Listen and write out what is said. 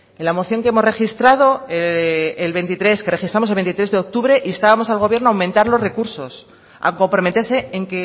en la moción que registramos el veintitrés de octubre instábamos al gobierno a aumentar los recursos a comprometerse